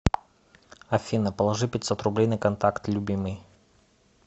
афина положи пятьсот рублей на контакт любимый